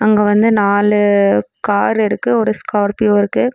அங்க வந்து நாலு கார் இருக்கு ஒரு ஸ்கார்பியோ இருக்கு.